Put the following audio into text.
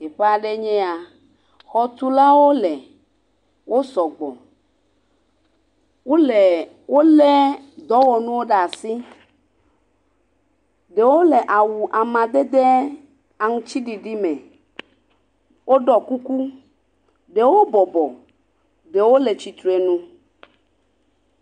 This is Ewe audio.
Teƒe aɖee nye eya, xɔtulawo le, wo sɔgbɔ, wole…wolé dɔwɔnuwo ɖe asi, ɖewo le awu amadede aŋutiɖiɖi me, woɖɔ kuku ɖewo bɔbɔ ɖewo le tsitre nu.